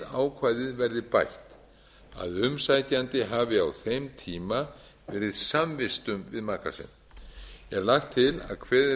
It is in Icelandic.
ákvæðið verði bætt að umsækjandi hafi á þeim tíma verið samvistum við maka sinn er lagt til að kveðið